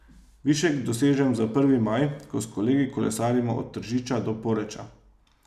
Višek dosežem za prvi maj, ko s kolegi kolesarimo od Tržiča do Poreča.